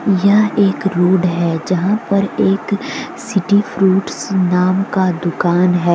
यह एक रोड है जहाँ पर एक सिटी फ्रूट्स नाम का दुकान है।